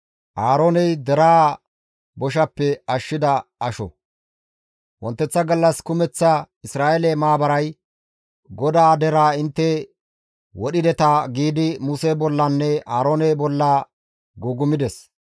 Wonteththa gallas kumeththa Isra7eele maabaray, «GODAA deraa intte wodhideta» giidi Muse bollanne Aaroone bolla gugumides.